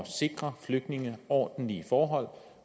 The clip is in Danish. sikre flygtninge ordentlige forhold